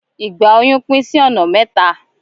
Ìgbà óyún pín sí ọ̀nà mẹ́ta.